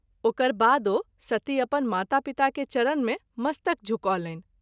ओकर बादो सती अपन माता-पिता के चरण मे मस्तक झुकौलनि।